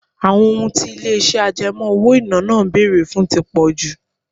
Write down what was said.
Àwọn ohun tí ilé-ìṣẹ́ àjẹmọ́ owó-ìná náà ń bèrè fún tí pọ̀ jù.